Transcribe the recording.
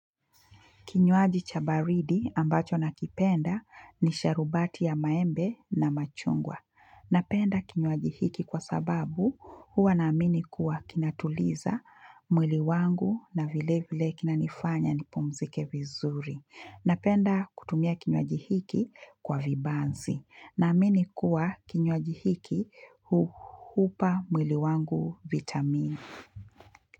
Kinywaji cha baridi ambacho nakipenda ni sharubati ya maembe na machungwa. Napenda kinywaji hiki kwa sababu huwa naamini kuwa kinatuliza mwili wangu na vile vile kinanifanya nipumzike vizuri. Napenda kutumia kinywaji hiki kwa vibanzi naamini kuwa kinywaji hiki hupa mwili wangu vitamini.